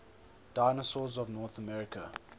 dinosaurs of north america